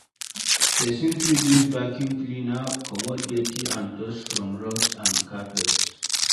Person fit use vacuum cleaner comot doty and dust from rugs and carpets